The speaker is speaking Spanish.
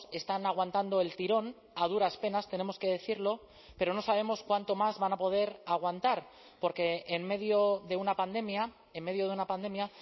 están aguantando el tirón a duras penas tenemos que decirlo pero no sabemos cuánto más van a poder aguantar porque en medio de una pandemia en medio de una pandemia